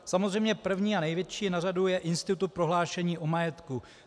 Samozřejmě první a největší na řadě je institut prohlášení o majetku.